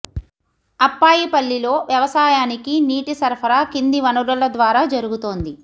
అప్పాయిపల్లిలో వ్యవసాయానికి నీటి సరఫరా కింది వనరుల ద్వారా జరుగుతోంది